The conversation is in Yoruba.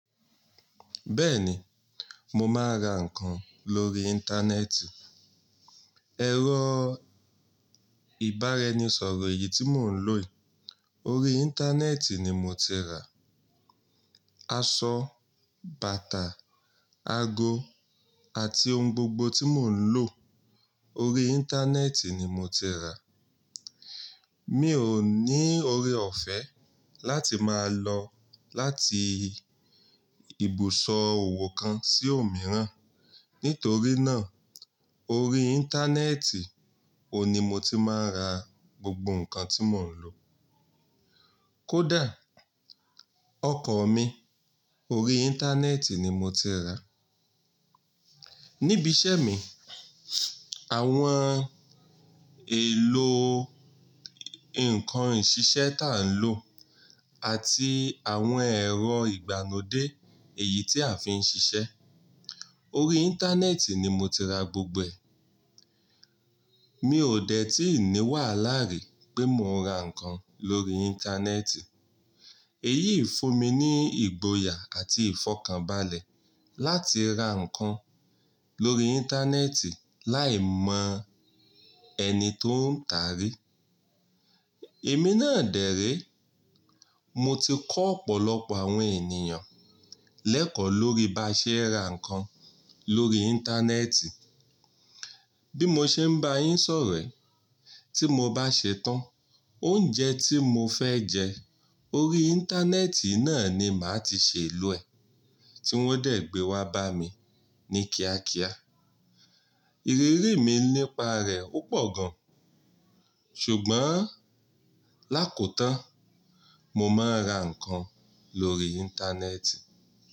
Bẹ́ẹ̀ni, mo máa ń ra ǹkan lórí Íńtánẹ́ẹ̀tì. Ẹ̀rọ ìbára ení sọ̀rọ̀ eyìí tí mò ń lò yìí órí Íńtánẹ́ẹ̀tì ni mo ti rà. Aṣọ, bàtà, ago àti ohun gbogbo tí mò ń lò lórí Íńtánẹ́ẹ̀tì ni mo ti rà. Mi ò ní oore-ọ̀fẹ́ láti máa lọ láti ibùsọ̀ òwò kan sí òmíràn. Nítorí náà órí Íńtánẹ́ẹ̀tì òní mo ti máa ń ra gbogbo ǹkan tí mò ń lò. Kódà ọkọ̀ mi lórí Íńtánẹ́ẹ̀tì ni mo ti rà. Níbi iṣẹ́ mi, àwọn èlò ǹkan ìṣiṣẹ́ tá ń lò àti àwọn ẹ̀rọ ìgbàno dé èyí tí à ń fi ń ṣiṣẹ́ órí Íńtánẹ́ẹ̀tì ni mo ti rà gbogbo ẹ̀. Mi ò dẹ́ tí ni wàhálà rí pé mò ń ra ǹkan lórí Íńtánẹ́ẹ̀tì. Èyí fún mi ní ìgboyà àti ìfọ̀kànbalẹ̀ láti ra ǹkan lórí Íńtánẹ́ẹ̀tì láì mọ ẹni tó ń tà rí. Èmi náà dẹ̀ ré. Mo ti kọ́ ọ̀pọ̀lọpọ̀ àwọn ènìyàn lẹ́kọ̀ọ́ lórí bá ṣe ẹ ra ǹkan lórí Íńtánẹ́ẹ̀tì. Bí mo ṣe ń bá yín sọ̀rọ̀ ẹ, tí mo bá ṣe tán, oúnjẹ tí mo fẹ́ jẹ órí Íńtánẹ́ẹ̀t yiì náà ni màá ti ṣe é lọ ẹ̀. Tí wọ́n dẹ̀ gbé wá bá mi ní kíákíá. Ìrírí mi nípa rẹ̀ ó pọ̀ gan. Ṣùgbọ́n lákòó tán, mo máa ń ra ǹkan lórí Íńtánẹ́ẹ̀tì.